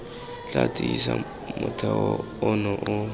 tla tiisa motheo ono o